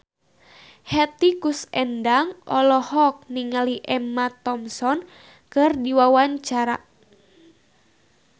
Hetty Koes Endang olohok ningali Emma Thompson keur diwawancara